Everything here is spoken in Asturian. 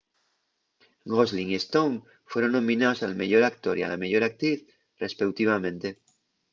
gosling y stone fueron nominaos al meyor actor y a la meyor actriz respeutivamente